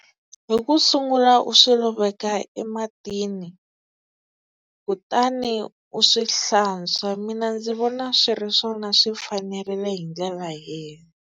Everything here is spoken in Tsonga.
Hi ku sungula u swi loveka ematini kutani u swi hlantswa mina ndzi vona swi ri swona swi fanerile hi ndlela leyo.